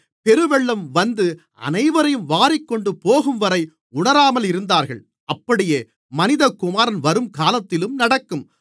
பெருவெள்ளம் வந்து அனைவரையும் வாரிக்கொண்டுபோகும்வரை உணராமல் இருந்தார்கள் அப்படியே மனிதகுமாரன் வரும்காலத்திலும் நடக்கும்